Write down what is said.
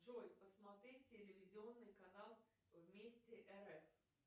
джой посмотреть телевизионный канал вместе рф